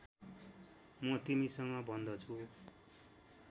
म तिमीसँग भन्दछु